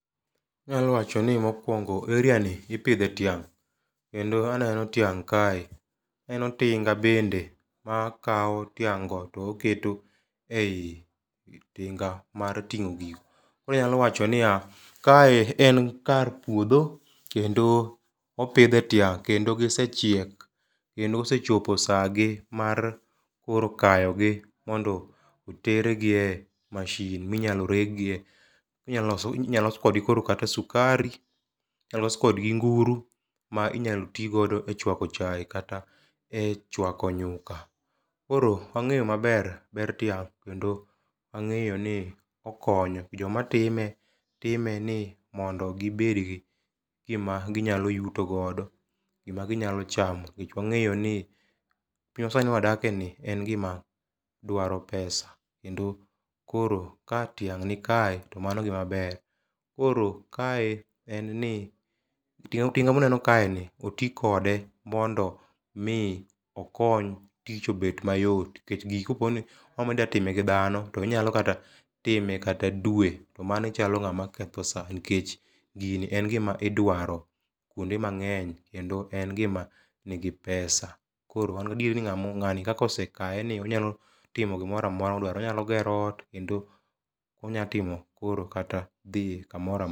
Anyalo wacho ni mokwongo, area ni ipidhe tiang'. Kendo aneno tiang' kae, aneno tinga bende makawo tiang'go to oketo ei tinga mar tingó gigo. Koro anyalo wacho niya kae en kar puodho, kendo opidhe tiang', kendo gisechiek, kendo osechopo sa gi mar koro kayo gi, mondo otergi e masin ma inyalo regie. Inyaloso, inyalos kodgi koro kata sukari, inya los kodgi nguru ma inyalo ti godo e chwako chae kata e chwako nyuka. Koro angéyo maber ber tiang', kendo ang'eyo ni okonyo. Joma time, time ni mondo gibed gi gima ginyalo yuto godo. Gima ginyalo chamo. Nikech wangeýo ni piny ma sani ma wadake ni en gima dwaro pesa. Kendo koro ka tiang'ni kae to mano gima ber. Koro kae en ni tinga tinga muneno kae ni oti kode mondo mi okony tich obed mayot. Nikech gigi ka po ni iomo ni idwa time gi dhano to onyalo kata time kata dwe. To mano ichalo ngáma ketho sa. Nikech gini en gima idwaro kwonde mangény, kendo en gima nigi pesa koro an gi adieri ni ngámo, ngáni kaka osekawe ni onyalo timo gimoro amora ma odwaro. Onyalo gero ot, kendo onya timo koro kata dhi kamoro amora.